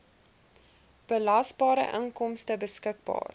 belasbare inkomste beskikbaar